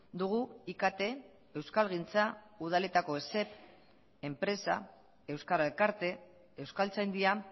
dugu ikt euskalgintza udaletako esep enpresa euskara elkarte euskaltzaindia